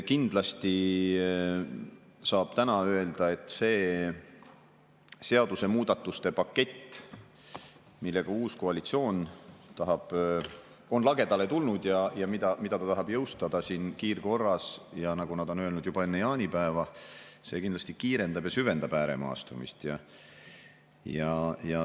Kindlasti saab täna öelda, et see seadusemuudatuste pakett, millega uus koalitsioon on lagedale tulnud ja mida ta tahab jõustada kiirkorras – nagu nad on öelnud, juba enne jaanipäeva –, kindlasti kiirendab ja süvendab ääremaastumist.